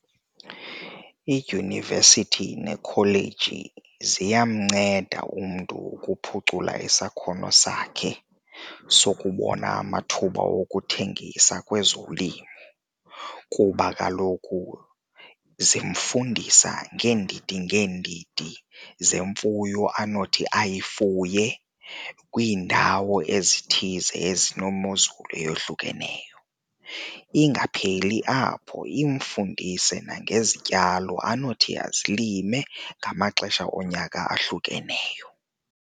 Idyunivesithi nekholeyiji ziyamnceda umntu ukuphucula isakhono sakhe sukubona amathuba wokuthengisa kwezolimo kuba kaloku zimfundisa ngeendidi ngeendidi zemfuyo anothi aye ayifuye kwiindawo ezithize ezinomozulu eyohlukeneyo. Ingapheli apho, imfundise nangezityalo anothi azilime ngamaxesha onyaka ahlukeneyo.